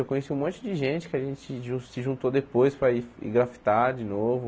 Eu conheci um monte de gente que a gente se jun se juntou depois para ir ir grafitar de novo.